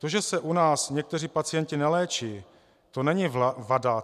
To, že se u nás někteří pacienti neléčí, to není vada.